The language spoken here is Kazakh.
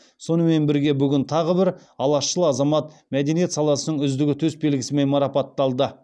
сонымен бірге бүгін тағы бір алашшыл азамат мәдениет саласының үздігі төсбелгісімен марапатталды